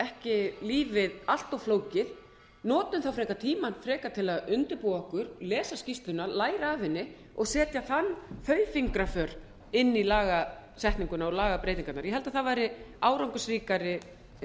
ekki lífið allt of flókið notum frekar tímann frekar til að undirbúa okkur lesa skýrsluna læra af henni og setja þau fingraför inn í lagasetninguna og lagabreytingarnar ég held að það væri árangursríkari